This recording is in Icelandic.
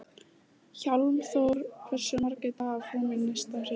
Hjálmþór, hversu margir dagar fram að næsta fríi?